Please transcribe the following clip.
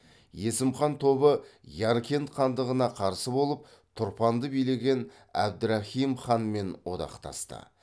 есім хан тобы яркент хандығына қарсы болып тұрпанды билеген әбдірахим ханмен одақтасты